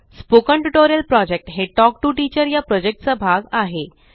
spoken tutorial project हे talk to teacher चा भाग आहे